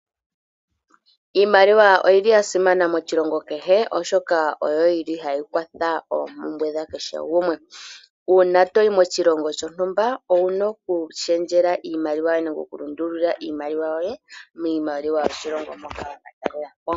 Iimaliwa oya simana moshilongo kehe oshoka oyili hayi kwatha oompumbwe dha kehe gumwe. Uuna toyi moshilongo shontumba owuna okushendjela iimaliwa yoye moshilongo moka wa katalelapo.